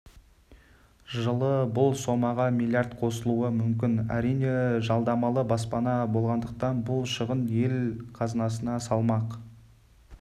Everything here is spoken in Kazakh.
жылы бұл сомаға миллиард қосылуы мүмкін әрине жалдамалы баспана болғандықтан бұл шығын ел қазынасына салмақ